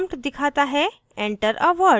prompt दिखाता है enter a word: